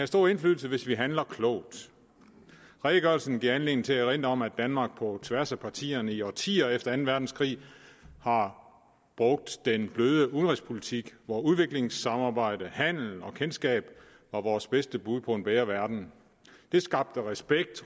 stor indflydelse hvis vi handler klogt redegørelsen giver anledning til at erindre om at danmark på tværs af partierne i årtier efter anden verdenskrig har brugt den bløde udenrigspolitik hvor udviklingssamarbejde handel og kendskab var vores bedste bud på en bedre verden det skabte respekt